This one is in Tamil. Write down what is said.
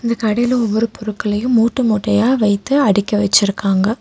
இந்த கடைல ஒவ்வொரு பொருட்களையும் மூட்டமூட்டையா வைத்து அடிக்கி வச்சிருக்காங்க.